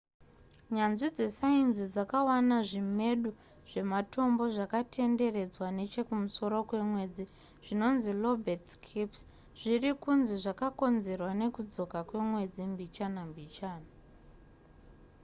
nyanzvi dzesainzi dzakawana zvimedu zvematombo zvakatenderedzwa nechekumusoro kwemwedzi zvinonzi lobate scarps zviri kunzi zvakakonzerwa nekudzoka kwemwedzi mbichana mbichana